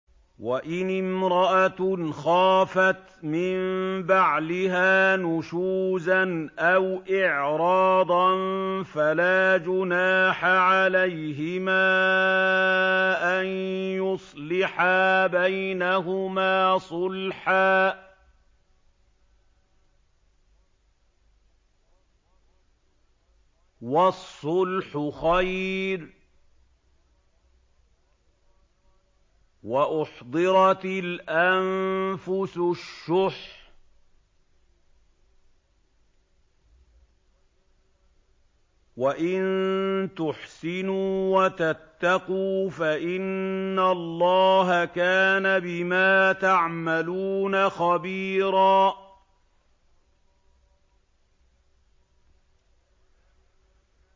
وَإِنِ امْرَأَةٌ خَافَتْ مِن بَعْلِهَا نُشُوزًا أَوْ إِعْرَاضًا فَلَا جُنَاحَ عَلَيْهِمَا أَن يُصْلِحَا بَيْنَهُمَا صُلْحًا ۚ وَالصُّلْحُ خَيْرٌ ۗ وَأُحْضِرَتِ الْأَنفُسُ الشُّحَّ ۚ وَإِن تُحْسِنُوا وَتَتَّقُوا فَإِنَّ اللَّهَ كَانَ بِمَا تَعْمَلُونَ خَبِيرًا